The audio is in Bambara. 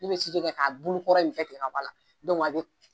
kɛ k'a bulukɔrɔ in bɛɛ tigɛ ka bɔ a la a bɛ